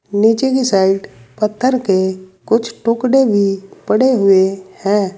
नीचे की साइड पत्थर के कुछ टुकड़े भी पड़े हुए हैं।